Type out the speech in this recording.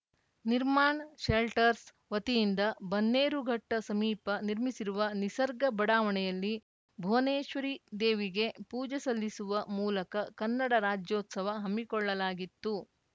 Nirman shelters ವತಿಯಿಂದ ಬನ್ನೇರುಘಟ್ಟಸಮೀಪ ನಿರ್ಮಿಸಿರುವ ನಿಸರ್ಗ ಬಡಾವಣೆಯಲ್ಲಿ ಭುವನೇಶ್ವರಿ ದೇವಿಗೆ ಪೂಜೆ ಸಲ್ಲಿಸುವ ಮೂಲಕ ಕನ್ನಡ ರಾಜ್ಯೋತ್ಸವ ಹಮ್ಮಿಕೊಳ್ಳಲಾಗಿತ್ತು